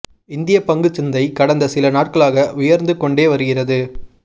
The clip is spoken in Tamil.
இந்திய பங்குச் சந்தை கடந்த சில நாட்களாக உயர்ந்து கொண்டே வருகிறது